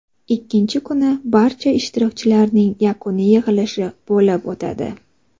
Ikkinchi kuni barcha ishtirokchilarning yakuniy yig‘ilishi bo‘lib o‘tadi.